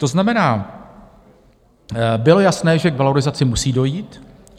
To znamená, bylo jasné, že k valorizaci musí dojít.